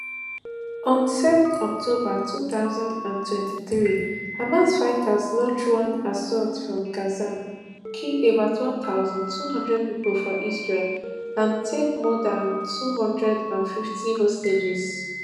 on seven october two thousand and twenty-three hamas fighters launch one assault from gaza kill about one thousand, two hundred pipo for israel and take more dan two hundred and fifty hostages